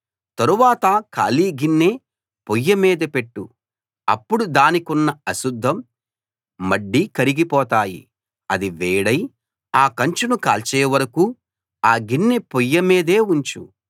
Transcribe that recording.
తరువాత ఖాళీ గిన్నె పొయ్యి మీద పెట్టు అప్పుడు దానికున్న అశుద్ధం మడ్డీ కరిగిపోతాయి అది వేడై ఆ కంచును కాల్చే వరకూ ఆ గిన్నె పొయ్యి మీదే ఉంచు